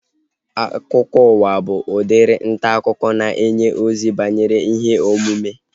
Akụkọụwa bụ udiri ntaakụkọ na-enye ozi banyere ihe omume